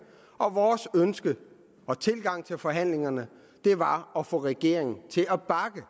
og at vores ønske og tilgang til forhandlingerne var at få regeringen til at bakke